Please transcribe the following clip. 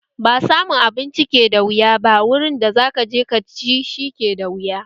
Ba samun abinci ke da wuya ba, wuri da zaka je ka ci shi ke da wuya